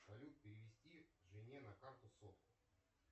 салют перевести жене на карту сотку